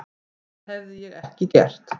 Það hefði ég ekki gert.